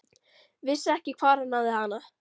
Vissi ekki hvar hann hafði hana.